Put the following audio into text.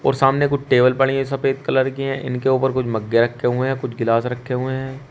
और सामने कुछ टेबल पड़ी है सफेद कलर की है इनके ऊपर कुछ मग्गे रखे हुए है कुछ गिलास रखे हुए हैं।